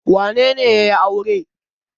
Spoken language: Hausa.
Wane ne ya yi aure?